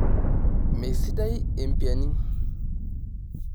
Meesidai empiani.